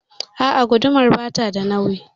A'a gudumar bata da nauyi.